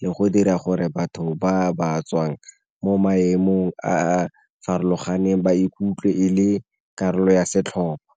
le go dira gore batho ba ba tswang mo maemong a a farologaneng ba ikutlwe e le karolo ya setlhopha.